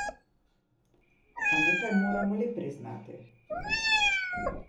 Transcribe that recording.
A nekaj moramo le priznati.